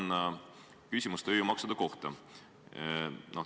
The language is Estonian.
Mul on küsimus tööjõumaksude kohta.